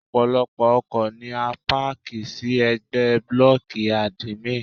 Ọ̀pọ̀lọ́pọ̀ ọkọ̀ ni a páàkì sí ẹ̀gbẹ́ blọ́ọ̀kì àdìmín.